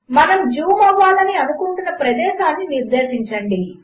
మనముజూంఅవ్వాలనిఅనుకుంటున్నప్రదేశమునునిర్దేశించండి